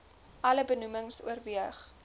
alle benoemings oorweeg